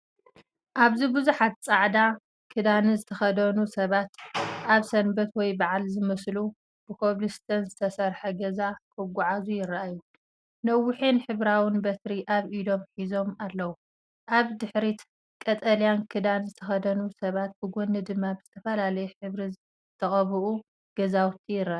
ኣብዚ ብዙሓት ጻዕዳ ክዳን ዝተኸድኑ ሰባት፡ ኣብ ሰንበት ወይ በዓል ዝመስሉ፡ ብኮብልስቶን ዝተሰርሐ ጎደና ክጓዓዙ ይረኣዩ። ነዊሕን ሕብራዊን በትሪ ኣብ ኢዶም ሒዞም ኣለዉ። ኣብ ድሕሪት ቀጠልያ ክዳን ዝተኸድኑ ሰባት ብጎኒ ድማ ብዝተፈላለየ ሕብሪ ዝተቐብኡ ገዛውቲ ይረኣዩ።